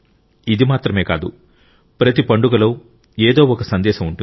ఇది మాత్రమే కాదు ప్రతి పండుగలో ఏదో ఒక సందేశం ఉంటుంది